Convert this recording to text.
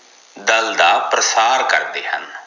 ਦਲ ਦਾ ਪ੍ਰਸਾਰ ਕਰਦੇ ਹਨ